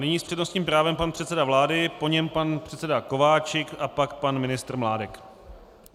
Nyní s přednostním právem pan předseda vlády, po něm pan předseda Kováčik a pak pan ministr Mládek.